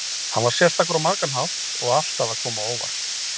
Hann var sérstakur á margan hátt og alltaf að koma á óvart.